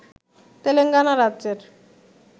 তেলেঙ্গানা রাজ্যের